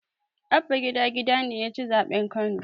Abba gida gida ne yaci zaɓen kano